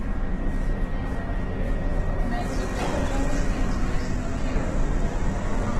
найди мне пожалуйста интересный фильм